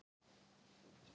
Hvaða rugl er þetta?